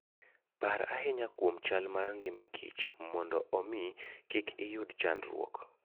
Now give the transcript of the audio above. Par ahinya kuom chal mar ngima kich, mondo omi kik iyud chandruok.